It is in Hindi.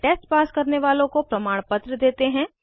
ऑनलाइन टेस्ट देने वालों को प्रमाणपत्र देते हैं